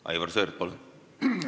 Aivar Sõerd, palun!